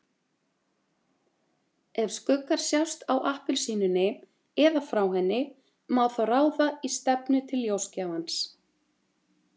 Ef skuggar sjást á appelsínunni eða frá henni má þó ráða í stefnu til ljósgjafans.